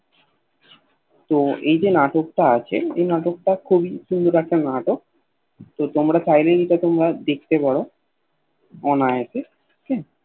তো এই যে নাটক তা আছে এই নাটক তা খুবই সুন্দর একটা নাটক তো তোমরা চাইলে এটা তোমরা দেখতে পারো অনায়াসে